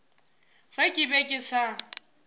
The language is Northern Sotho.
ge ke be ke sa